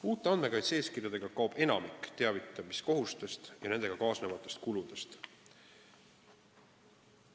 Uute andmekaitse-eeskirjadega kaob enamik teavitamiskohustustest ja nendega kaasnevatest kuludest.